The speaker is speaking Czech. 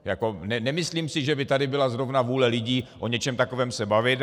Nemyslím si, že by tady byla zrovna vůli lidí o něčem takovém se bavit.